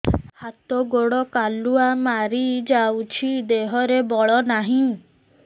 ହାତ ଗୋଡ଼ କାଲୁଆ ମାରି ଯାଉଛି ଦେହରେ ବଳ ନାହିଁ